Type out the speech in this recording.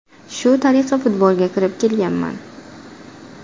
Shu tariqa futbolga kirib kelganman.